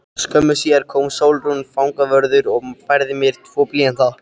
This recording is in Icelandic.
Skömmu síðar kom Sólrún fangavörður og færði mér tvo blýanta.